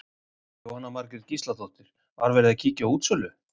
Jóhanna Margrét Gísladóttir: Var verið að kíkja á útsölu?